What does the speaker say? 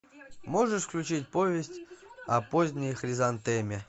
можешь включить повесть о поздней хризантеме